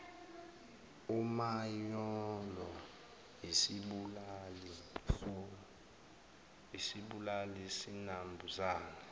umanyolo izibulali zinambuzane